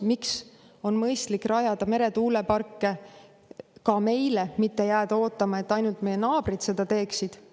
Miks on mõistlik rajada meretuuleparke ka meile, mitte jääda ootama, et ainult meie naabrid seda teeksid?